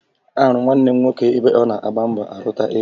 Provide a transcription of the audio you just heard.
Ahụrụ m nwanne m nwoke ebe ọ na-agba mbọ arụta ego